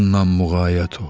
Ondan muğayat ol.